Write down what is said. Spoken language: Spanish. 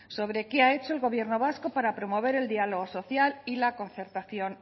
sobre qué ha hecho el gobierno vasco para promover el diálogo social y la concertación